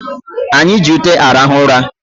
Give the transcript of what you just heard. Anyị ji ute arahụ ụra